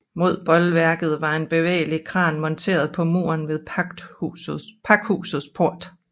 Mod bolværket var en bevægelig kran monteret på muren ved pakhusets port